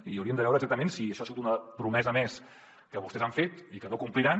i hauríem de veure exactament si això ha sigut una promesa més que vostès han fet i que no compliran